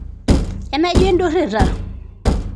enaijo indurrirrata